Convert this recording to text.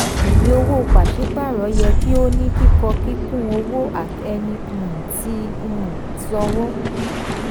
ìwé owó pàsípàrọ̀ yẹ kí ó ní kíkọ kúnkún ọwọ́ ẹni um tí um ń sanwó.